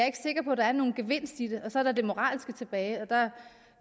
ikke sikker på at der er nogen gevinst i det så er der det moralske tilbage og der